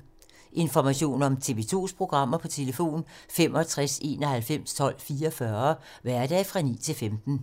Information om TV 2's programmer: 65 91 12 44, hverdage 9-15.